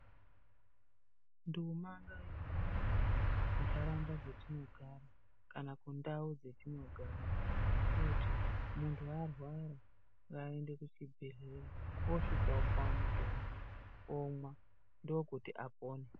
Nduma ngaihambe muntaraunda dzatinogara kana kundau dzatinogara kuti muntu arwara ngaaende kuchibhedhlera osvika opuwe mutombo omwa ndookuti apone .